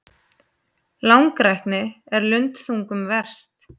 Langrækni er lundþungum verst.